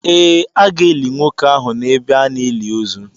Ee, a ga-eli nwoke ahụ n’ebe a na-eli ozu.